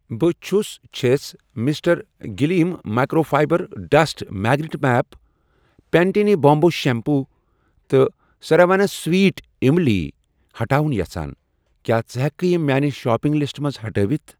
بہٕ چُھس چھَس mister gleam microfibre dust magnet mop, Pantene bamboo shampoo تہٕ ساراوَنَس سَویٹ اِملی ہٹاوُن یژھان، کیٛاہ ژٕ ہٮ۪کہٕ یِم میانہِ شاپنگ لسٹہٕ منٛز ہٹٲوِتھ؟